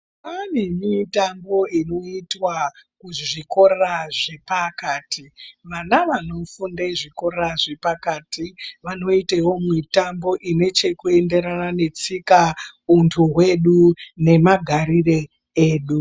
Kwaane mitambo inoitwa kuzvikora zvepakati vana vanofunde zvikora zvepakati vanoitewo mitambo inechekuenderana netsika untu wedu nemagarire edu.